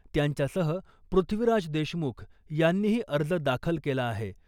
त्यांच्यासह पृथ्वीराज देशमुख यांनीही अर्ज दाखल केला आहे .